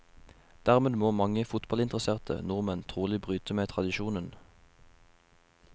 Dermed må mange fotballinteresserte nordmenn trolig bryte med tradisjonen.